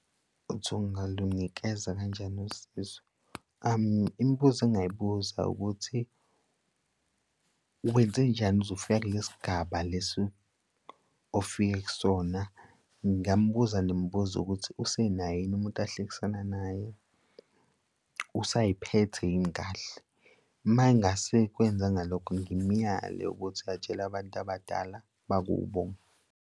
Uthi ngalunikeza kanjani usizo. Imibuzo engingayibuza ukuthi wenzenjani ukuze ufike kulesi sigaba lesi ofike kusona. Ngingambuza nemibuzo ukuthi usenaye yini umuntu ehlekisana naye usay'phethe yini kahle. Uma engasakwenzanga lokho ngimuyale ukuthi atshele abantu abadala bakubo.